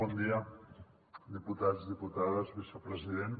bon dia diputats diputades vicepresident